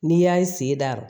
N'i y'a ye sen da